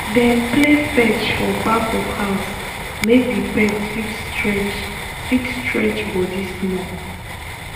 dem play fetch for back of house make the pet fit stretch fit stretch body small.